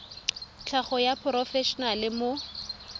tlhago wa moporofe enale mo